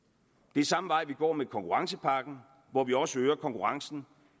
det er samme vej vi går med konkurrencepakken hvor vi også øger konkurrencen